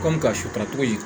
Kɔmi ka sutara cogo di